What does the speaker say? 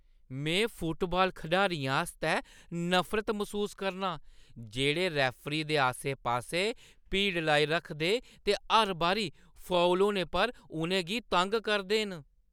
में फुटबाल खडारियें आस्तै नफरत मसूस करनां जेह्ड़े रेफरी दे आस्सै-पास्सै भीड़ लाई रखदे ते हर बारी फाउल होने पर उʼनें गी तंग करदे न।